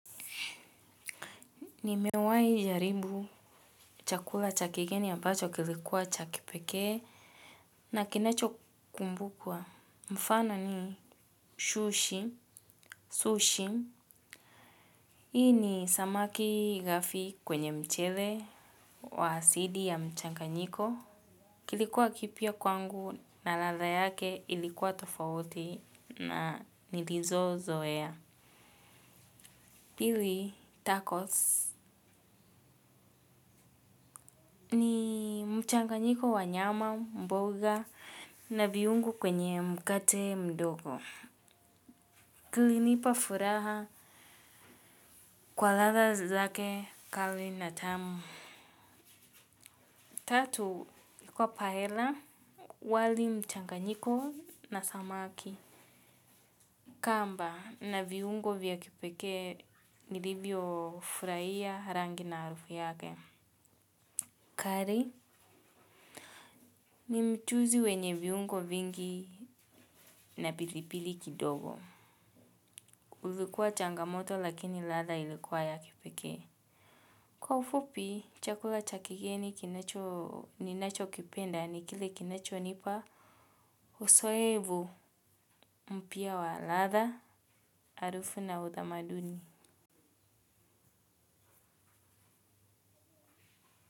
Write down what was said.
Nimewahi jaribu chakula cha kigeni ambacho kilikuwa cha kipekee na kinacho kumbukwa. Mfano ni shushi sushi. Hii ni samaki gafi kwenye mchele wa asidi ya mchanganyiko kilikuwa kipya kwangu na ladha yake ilikuwa tofauti na nilizo zoea. Pili tacos ni mchanganyiko wa nyama mboga na viungo kwenye mkate mdogo. Kilinipa furaha kwa ladha zake kali na tamu. Tatu ilikuwa paela wali mchanganyiko na samaki. Kamba na viungo vya kipekee nilivyo furahia rangi na harufu yake. Curry ni mchuzi wenye viungo vingi na pilipili kidogo. Ilikuwa changamoto lakini ladha ilikuwa ya kipeke. Kwa ufupi chakula cha kigeni ninachokipenda ni kile kinacho nipa. Uzoefu mpya wa ladha harufu na utamaduni.